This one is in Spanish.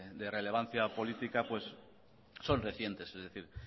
de relevancia política son recientes es decir